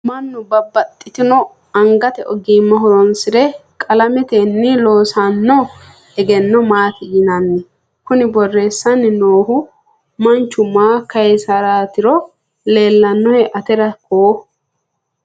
mannu babbaxino angate ogimma horonsire qalametenni loosanno egenno maati yinanni? kuni borreessanni noohu manchu maa kayiisaraatiro leellinohe atera koo ?